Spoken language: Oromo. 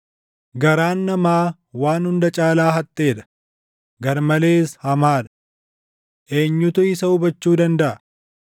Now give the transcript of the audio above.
Garaan namaa waan hunda caalaa haxxee dha; garmalees hamaa dha. Eenyutu isa hubachuu dandaʼa?